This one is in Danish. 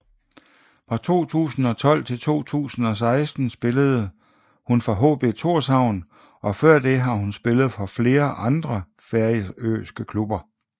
Fra 2012 til 2016 spillede hun for HB Tórshavn og før det har hun spillet for flere andre færøske klubber